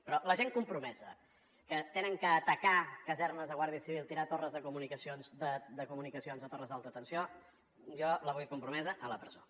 però la gent compromesa que han d’atacar casernes de guàrdia civil tirar torres de comunicacions o torres d’alta tensió jo la vull compromesa a la presó